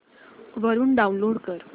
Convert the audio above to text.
वरून डाऊनलोड कर